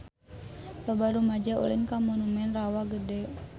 Loba rumaja ulin ka Monumen Rawa Gede